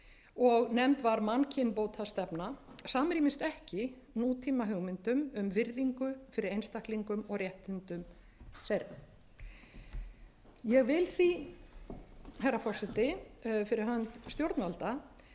og nefnd voru mannkynbótastefna samrýmist ekki nútímahugmyndum um virðingu fyrir einstaklingum og réttindum þeirra ég vil því fyrir hönd stjórnvalda